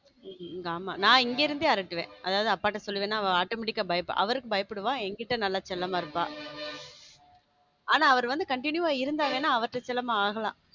நான் இங்கே இருந்து அரட்டுவேன் நான் அப்பாட்ட சொல்லுவேன் நான் automatic ஆ பயப்படுவா அவருக்கு பயப்படுவா என்கிட்ட நல்ல செல்லமா இருப்பா ஆனா அவரு வந்த countinu ஆ இருந்தா தானே அவர்கிட்ட செல்லம் ஆகலாம்.